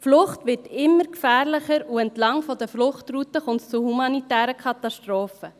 Die Flucht wird immer gefährlicher, und entlang der Fluchtrouten kommt es zu humanitären Katastrophen.